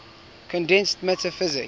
condensed matter physics